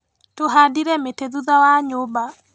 Tũhandire mĩti thutha wa nyũmba.